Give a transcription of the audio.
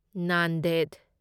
Nanded